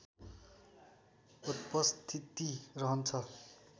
उपस्थिति रहन्छ